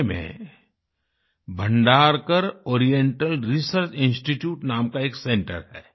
पुणे में Bhandarkar oriental research institute नाम का एक सेंटर है